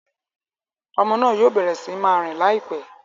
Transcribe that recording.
Ọmọ náà yoo bẹrẹ sí máa rìn laipẹ